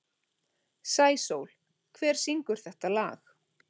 Sæsól, hver syngur þetta lag?